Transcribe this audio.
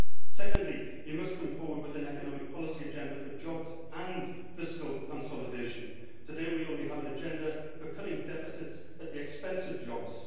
Second, you must come forward with an economic policy agenda for jobs and fiscal consolidation. Today, we only have an agenda for cutting deficits at the expense of jobs.